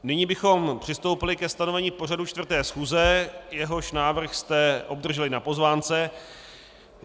Nyní bychom přistoupili ke stanovení pořadu 4. schůze, jehož návrh jste obdrželi na pozvánce.